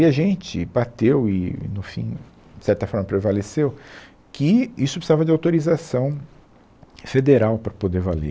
E a gente bateu e, no fim, de certa forma prevaleceu, que isso precisava de autorização federal para poder valer.